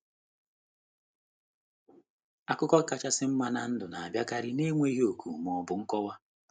Akụkụ kachasị nma nke ndụ na-abịakarị n'enweghị òkù ma ọ bụ nkọwa.